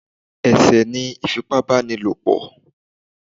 Ẹ̀sẹ̀ ni ìfipábánilòpò